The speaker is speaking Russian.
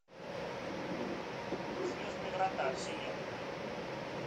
звездные врата вселенная